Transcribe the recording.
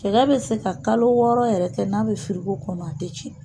Cɛkɛ bɛ se ka kalo wɔɔrɔ yɛrɛ kɛ, n'a bɛ firiko kɔnɔ a tɛ cɛn!